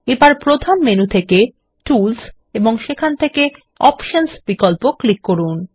এবার প্রধান মেনু থেকে টুলস ও সেখান থেকে অপশনস বিকল্প ক্লিক করুন